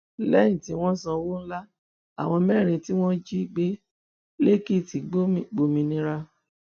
lẹyìn tí wọn sanwó ńlá àwọn mẹrin tí wọn jí gbé lẹkìtì gbòmìnira